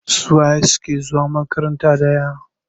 Suwaye suke zuwa makaranta ɗaya?